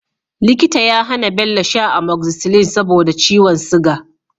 Likita ya hAna Bello sha Amoxicillin saboda ciwon siga